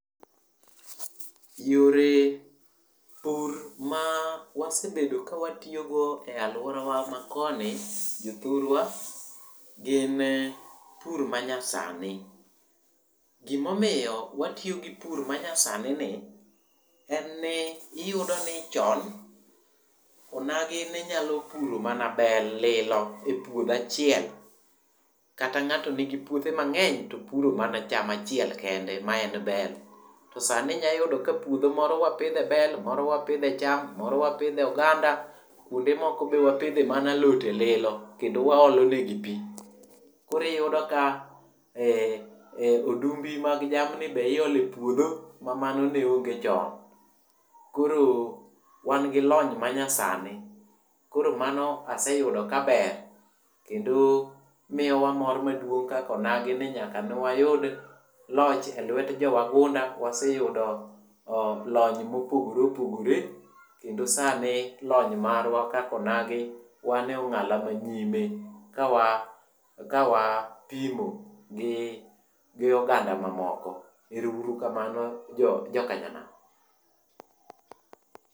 Yore pur ma wasebedo ka watiyogo e alworawa ma koni jothurwa gin pur manyasani. Gimomiyo watiyo gi pur manyasani en ni, iyudo ni chon onagi ne nyalo puro mana bel lilo e puodho achiel kata ng'ato nigi puothe mang'eny to puro mana cham achiel kende ma en bel. To sani inyayudo ka puodho moro wapidhe bel, moro wapidhe cham, moro wapidhe oganda. Kwonde moko be wapidhe mana alode lilo kendo waolo ne gi pi. Koro iyudo ka odumbi mag jamni be iole puodho ma mano ne onge chon. Koro wan gi lony manyasani . Koro mano aseyudo ka ber kendo miyowa mor maduong' kaka onagi ni nyaka ne wayud loch e lwet jowagunda, waseyudo lony mopogore opogore kendo sani lony marwa kaka onagi wane ong’ala manyime ka wa, ka wapimo gi oganda mamoko. Ero uru kamano jokanyanam .